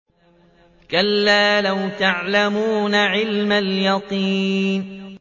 كَلَّا لَوْ تَعْلَمُونَ عِلْمَ الْيَقِينِ